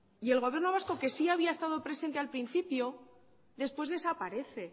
y el gobierno vasco que sí había estado presente al principio después desaparece